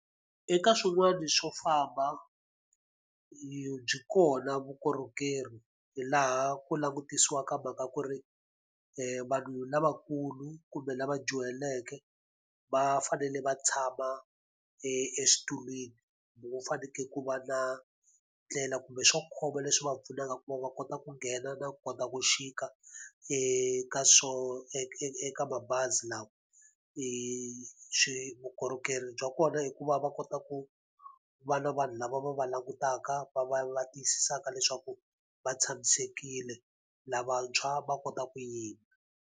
Eka swin'wana swo famba byi kona vukorhokeri hi laha ku langutisiwaka mhaka ya ku ri vanhu lavakulu kumbe lava dyuhaleke, va fanele va tshama exitulwini. Kumbe va fanekele ku va na ndlela kumbe swo khoma leswi va pfunaka ku va va kota ku nghena na kota ku chika eka swo eka mabazi lawa. Swi vukorhokeri bya kona i ku va va kota ku va na vanhu lava va va langutaka va va va tiyisisaka leswaku va tshamisekile. Lavantshwa va kota ku yima.